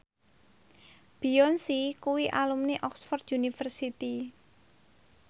Beyonce kuwi alumni Oxford university